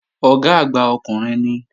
Ọ̀gá àgbà ọkùnrin ni